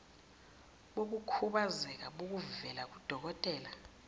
bokukhubazeka obuvela kudokotela